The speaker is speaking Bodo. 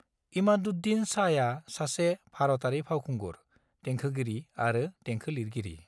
इमादुद्दीन शाहआ सासे भारतारि फावखुंगुर, देंखोगिरि आरो देंखो लिरगिरि।